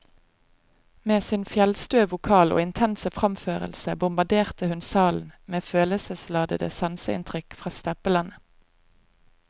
Med sin fjellstøe vokal og intense framførelse bombarderte hun salen med følelsesladede sanseinntrykk fra steppelandet.